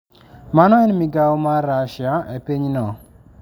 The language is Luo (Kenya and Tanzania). Mano en migawo mar Russia e pinyno.